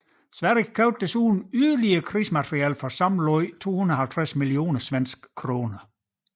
Sverige købte desuden yderligere krigsmateriel for sammenlagt 250 millioner svenske kroner